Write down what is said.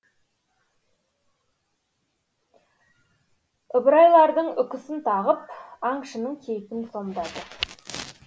ыбырайлардың үкісін тағып аңшының кейпін сомдады